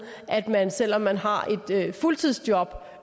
at man selv om man har et fuldtidsjob